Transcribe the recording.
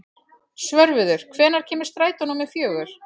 Svörfuður, hvenær kemur strætó númer fjögur?